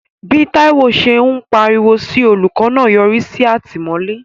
Bí Taiwo ṣe ń pariwo sí olùkọ́ náà yọrí sí àtìmọ́lé.